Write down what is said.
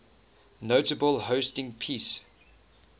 notably hosting peace